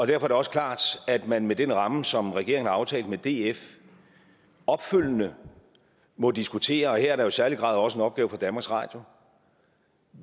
det også klart at man med den ramme som regeringen har aftalt med df opfølgende må diskutere og her er der jo i særlig grad også en opgave for danmarks radio